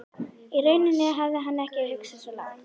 Í rauninni hafði hann ekki hugsað svo langt.